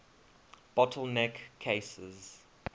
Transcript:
bottle neck cases